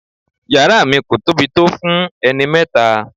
Yàrá mi kò tóbi tó fún ẹni mẹ́ta.